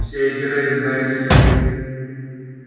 все эти рейды знаете ли